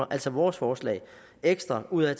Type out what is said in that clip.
altså vores forslag ekstra ud af at